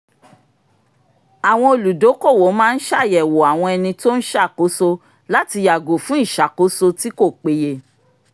àwọn olùdókòwò máa ń ṣàyẹ̀wò àwọn ẹni tó ń ṣàkóso láti yàgò fún ìṣàkóso tí kò péye